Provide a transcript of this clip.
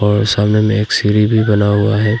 और सामने में एक सीढ़ी भी बना हुआ है।